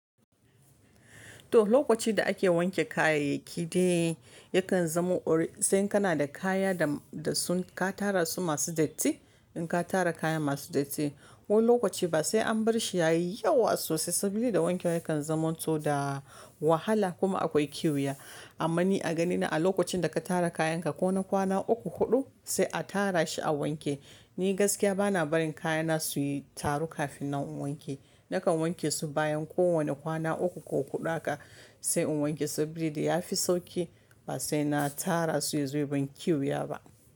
To lokaci da ake wanke kayayyaki dai yakan zamo ori sai kana da kaya da sun ka tara su masu datti. In ka tara kaya masu datti ko lokaci ba sai an barshi yayi yawa sosai sabili da wanke wa yakan zamanto da wahala kuma akwai kwiya. Amma ni a ganina a lokacin da ka tara kayanka ko na kwana uku huɗu sai a tara shi a wanke. Ni gaskiya bana barin kayana su yi taru kafin na wanke. Nakan wanke su bayan kowane kwana uku ko huɗu haka sai in wanke saboda ya fi sauki ba sai na tara su yaz ya ban kwiya ba.